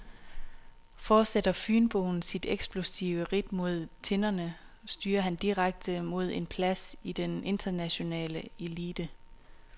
Fortsætter fynboen sit eksplosive ridt mod tinderne, styrer han direkte mod en plads i den internationale elite.